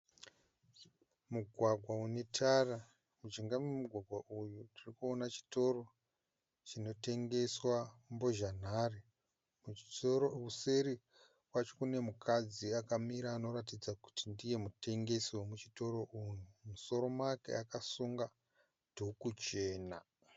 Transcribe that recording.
Mugwagwa une tara. Mujinga memugwagwa umu tiri kuona chitoro chinotengeswa mbozhanhare. Kuseri kwacho kune mukadzi akamira anoratidza kuti ndiye mutengesi wemuchitoro umu. Mumusoro make akasunga dhuku chena.